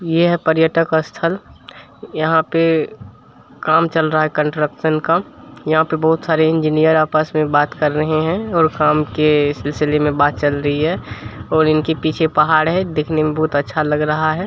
ये हैं पर्यटक स्थल यहां पे काम चल रहा है कन्स्ट्रकशन का | यहां पे बहुत सारे इंजीनियर आपस मे बात कर रहे हैं और काम के सिलसिले मे बात चल रही है और इनके पीछे पहाड़ है देखने मे बहुत अच्छा लग रहा है।